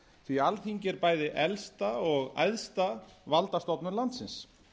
því alþingi er bæi elsta og æðsta valdastofnun landsins